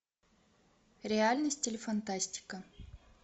реальность или фантастика